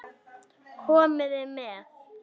Komiði með!